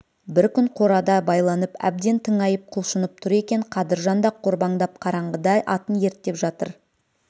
бір күн қорада байланып әбден тыңайып құлшынып тұр екен қадыржан да қорбаңдап қараңғыда атын ерттеп жатыр